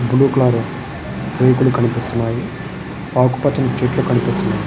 Blue colour రేకులు కనిపిస్తున్నాయి ఆకూ పచని చెట్లు కనిపిస్తున్నాయి.